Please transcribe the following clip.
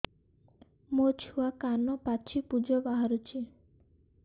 ମୋ ଛୁଆ କାନ ପାଚି ପୂଜ ବାହାରୁଚି